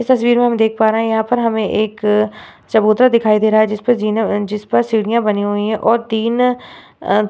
इस तस्वीर में हम देख पा रहें हैं यहाँ पर हमें एक चबूतरा दिखाई दे रहा है जिस पे जीन जिस पर सीढ़ियां बनी हुई हैं और तीन अ --